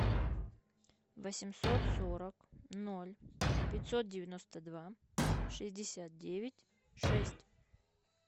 восемьсот сорок ноль пятьсот девяносто два шестьдесят девять шесть